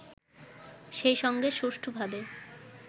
সেইসঙ্গে সুষ্ঠুভাবে